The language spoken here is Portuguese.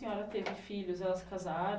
Senhora teve filhos, elas casaram?